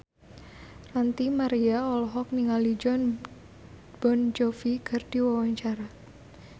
Ranty Maria olohok ningali Jon Bon Jovi keur diwawancara